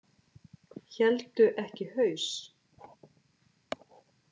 Héldu ekki haus